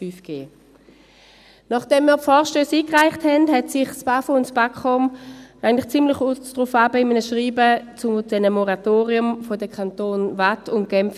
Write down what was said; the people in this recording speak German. » Nachdem wir die Vorstösse eingereicht hatten, äusserten sich das Bundesamt für Umwelt (BAFU) und das Bundesamt für Kommunikation (BAKOM) eigentlich ziemlich kurz darauf in einem Schreiben zu den Moratorien in den Kantonen Waadt und Genf.